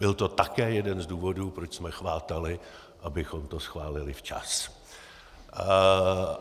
Byl to také jeden z důvodů, proč jsme chvátali, abychom to schválili včas.